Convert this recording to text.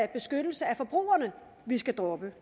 beskyttelse af forbrugerne vi skal droppe